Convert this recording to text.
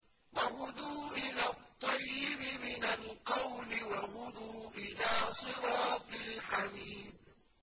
وَهُدُوا إِلَى الطَّيِّبِ مِنَ الْقَوْلِ وَهُدُوا إِلَىٰ صِرَاطِ الْحَمِيدِ